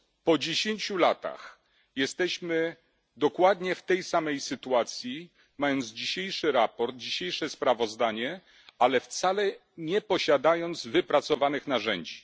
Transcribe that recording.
Po dziesięciu latach jesteśmy dokładnie w tej samej sytuacji, mając dzisiejsze sprawozdanie, ale wcale nie posiadając wypracowanych narzędzi.